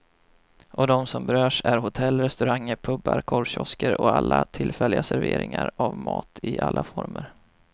Och de som berörs är hotell, restauranger, pubar, korvkiosker och alla tillfälliga serveringar av mat i alla former.